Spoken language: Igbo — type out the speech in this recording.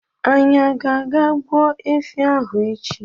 Anyị ágá àgá gbu efi ahụ echi